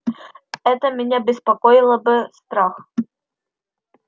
это меня беспокоило бы страх